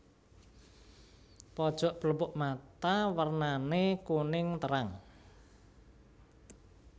Pojok pelupuk mata wernané kuning terang